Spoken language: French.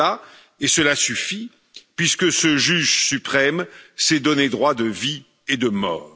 Il est là, et cela suffit puisque ce juge suprême s'est donné droit de vie et de mort.